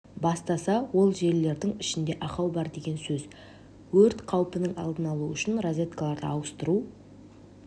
бастаса ол желілердің ішінде ақау бар деген сөз өрт қаупының алдын алу үшін розеткаларды ауыстыру